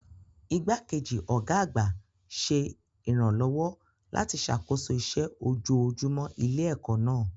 Igbákejì ọ̀gá àgbà ṣe ìrànlọ́wọ́ láti ṣàkóso iṣẹ́ ojoojúmọ́ ilé-ẹ̀kọ́ náà.